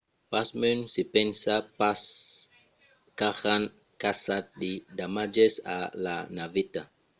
pasmens se pensa pas qu'ajan causat de damatges a la naveta